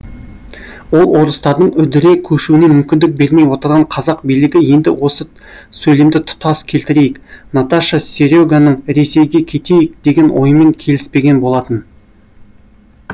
ол орыстардың үдіре көшуіне мүмкіндік бермей отырған қазақ билігі енді осы сөйлемді тұтас келтірейік наташа сере ганың ресейге кетейік деген ойымен келіспеген болатын